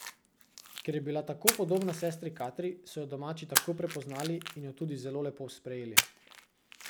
Ker je bila tako podobna sestri Katri, so jo domači takoj prepoznali in jo tudi zelo lepo sprejeli.